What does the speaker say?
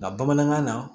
Nka bamanankan na